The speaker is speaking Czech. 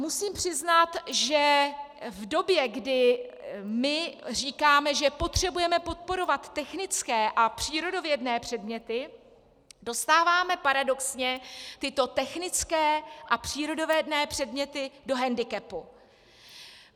Musím přiznat, že v době, kdy my říkáme, že potřebujeme podporovat technické a přírodovědné předměty, dostáváme paradoxně tyto technické a přírodovědné předměty do hendikepu.